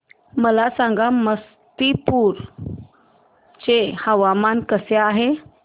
मला सांगा समस्तीपुर चे हवामान कसे आहे